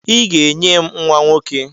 I ga-enye m nwa nwoke!